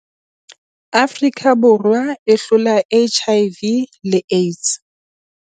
Afrika Borwa e hlola HIV le AIDS